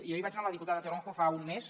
jo hi vaig anar amb la diputada toronjo fa un mes